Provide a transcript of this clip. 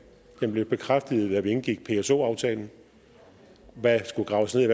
den blev bekræftet da vi indgik pso aftalen hvad der skulle graves ned